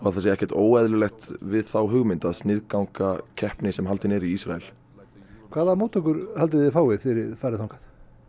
það sé ekkert óeðlilegt við þá hugmynd að sniðganga keppni sem haldin er í Ísrael hvaða móttökur haldið þið fáið þegar þið farið þangað